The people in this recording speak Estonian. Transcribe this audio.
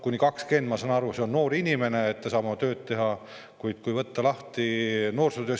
Kuni 20, ma saan aru, on noor inimene, kes saab oma töö eest.